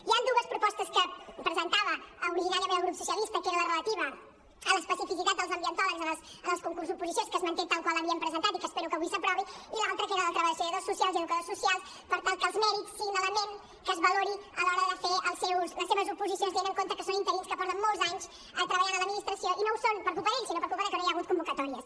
hi han dues propostes que presentava originàriament el grup socialista que era la relativa a l’especificitat dels ambientòlegs en els concursos oposició que es manté tal qual l’havíem presentat i que espero que avui s’aprovi i l’altra que era la de treballadors socials i educadors socials per tal que els mèrits siguin l’element que es valori a l’hora de fer les seves oposicions tenint en compte que són interins que porten molts anys treballant a l’administració i no ho són per culpa d’ells sinó per culpa de que no hi ha hagut convocatòries